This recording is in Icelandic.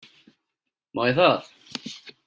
Má ég það?